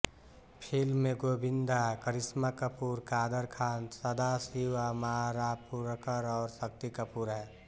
film में गोविन्दा करिश्मा कपूर कादर ख़ान सदाशिव अमरापुरकर और शक्ति कपूर हैं